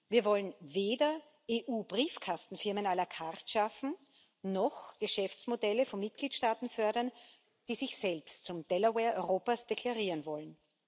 Wir wollen weder EU Briefkastenfirmen la carte schaffen noch Geschäftsmodelle von Mitgliedstaaten fördern, die sich selbst zum Delaware Europas deklarieren wollen.